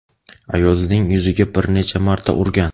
ayolining yuziga bir necha marta urgan.